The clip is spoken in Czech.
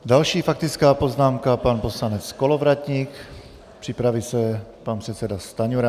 Další faktická poznámka, pan poslanec Kolovratník, připraví se pan předseda Stanjura.